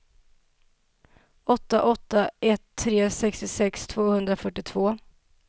åtta åtta ett tre sextiosex tvåhundrafyrtiotvå